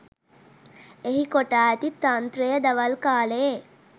එහි කොටා ඇති තන්ත්‍රය දවල් කාලයේ